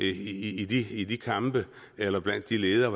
i i de kampe eller blandt de ledere